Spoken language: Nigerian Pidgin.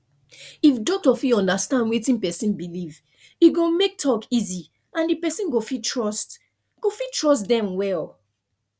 if doctor fit understand wetin person believe e go make talk easy and the person go fit trust go fit trust dem well